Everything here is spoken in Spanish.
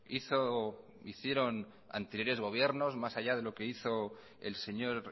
hizo o hicieron anteriores gobiernos más allá de lo que hizo el señor